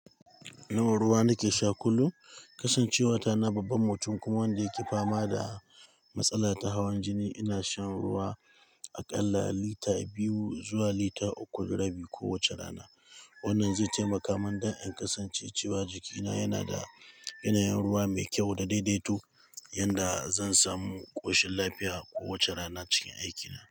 No ruwa nake sha kullum. Kasancewa tana babban mutum kuma wanda yake fama da matsala ta hawan jini, ina shan ruwa a ƙalla lita biyu zuwa lita uku da rabi kowace rana. Wannan zai taimaka min don in kasance cewa jikina yana da yanayin ruwa mai kyau da daidaito, yanda zan samu ƙoshin lafiya kowace rana cikin aikina.